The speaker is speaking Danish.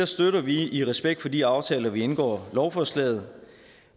støtter vi i respekt for de aftaler vi indgår lovforslaget